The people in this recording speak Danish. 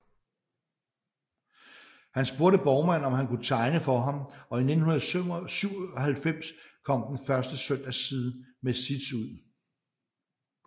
Han spurgte Borgmann om han kunne tegne for ham og i 1997 kom den første Søndagsside med Zits ud